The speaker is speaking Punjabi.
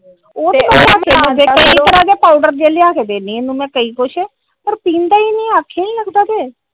ਕਈ ਤਰਾਂ ਦੇ ਪਾਊਡਰ ਜੇ ਲਿਆ ਕੇ ਦਿੰਦੀ ਇਹਨੂੰ ਕਈ ਕੁਜ ਪਰ ਪੀਂਦਾ ਈ ਨੀ ਆਖੇ ਈ ਨੀ ਲੱਗਦਾ ਕੇ ।